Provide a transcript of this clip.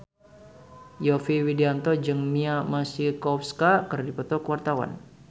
Yovie Widianto jeung Mia Masikowska keur dipoto ku wartawan